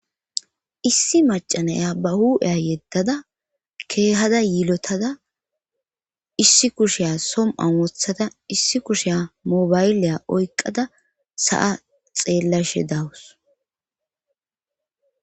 issi macanaya ba hu'eya yeddada keehada yiilotada issi kushiya som an wothada issi kushiya mobayleya oykqada sa7a xeellashe dawus